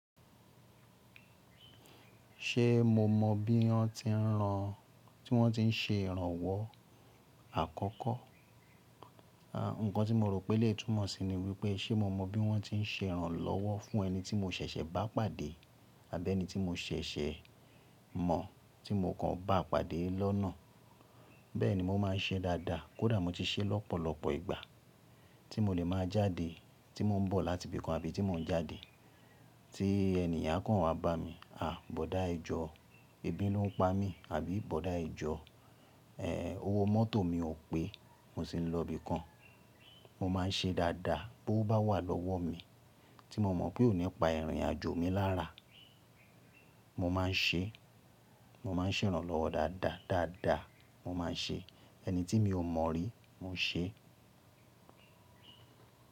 Ṣé mo mọ bí wọ́n ti ń ran, tí wọ́n ti ń ṣe ìrànwọ́ àkọ́kọ́? À, ǹkan tí mo rò pé lè túnmọ̀ sí ni wípé ṣé mo mọ bí wọ́n ti ń ṣe ìrànlọ́wọ́ fún ẹni tí mo ṣẹ̀ṣẹ̀ bá pàdé àbí ẹni tí mo ṣẹ̀ṣẹ̀ mọ tí mo kàn bá pàdé lọ́nà. Bẹ́ẹ̀ ni mo máa ń ṣe dáadáa. Kódà mo ti ṣe lọ́pọ̀lọpọ̀ ìgbà tí mo lè máa jáde, tí mò ń bọ̀ láti ibìkan àbí tí mò ń jáde tí ènìyàn kàn wa bá mi. À, bọ̀dá ẹjọ́, ebi ló ń pa mí. Àbí bọ̀dá ẹjọ́, ẹ́, owó mọ́tò mi ò pé, mo sì ń lọ ibìkan. Mo máa ń ṣe dáadáa bó bá wà lọ́wọ́ mi tí mo mọ̀ pé ò ní pa ìrìnàjò mi lára. Mo máa ń ṣe, mo máa ń ṣe ìrànlọ́wọ́ dáadáa, dáadáa mo máa ń ṣe. Ẹni tí mi ò mọ rí, mo ṣe.